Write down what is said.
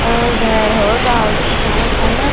और भैर होर डाल दिखेणा छन।